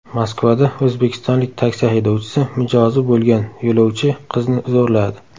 Moskvada o‘zbekistonlik taksi haydovchisi mijozi bo‘lgan yo‘lovchi qizni zo‘rladi.